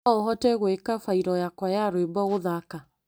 No ũhote gwĩka bairũ yakwa ya rwĩmbo gũthaka?